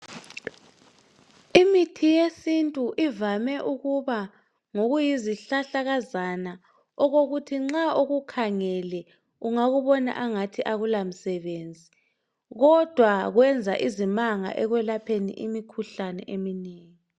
Imithi yesintu ivame ukuba ngokuyizihlahlakazana okokuthi nxa ukukhangele ungakubona engathi akula msebenzi kodwa kuyenza izimanga ekwelapheni imikhuhlane eminengi